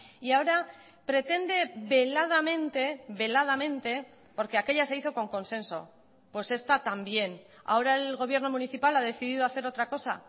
y ahora pretende veladamente veladamente porque aquella se hizo con consenso pues esta también ahora el gobierno municipal ha decidido hacer otra cosa